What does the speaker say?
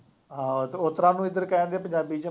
ਹਾਂ ਅਤੇ ਉਸ ਤਰ੍ਹਾਂ ਨੂੰ ਇੱਧਰ ਕਹਿ ਦੇਣ ਦੇ ਪੰਜਾਬੀ ਚ